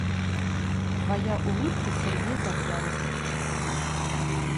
твоя улыбка сергей завьялов